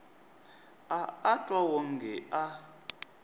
a a twa wonge a